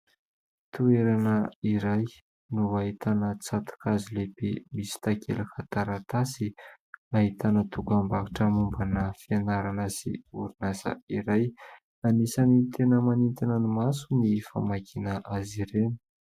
Toerana iray no ahitana tsatok'hazo lehibe misy takelaka taratasy nahitana dokam-barotra mombana fianarana sy orinasa iray. Anisany tena manintona ny maso ny famakiana azy ireny.